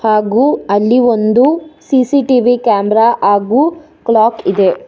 ಹಾಗು ಅಲ್ಲಿ ಒಂದು ಸಿ_ಸಿ_ಟಿ_ವಿ ಕ್ಯಾಮರಾ ಹಾಗು ಕ್ಲಾಕ್ ಇದೆ.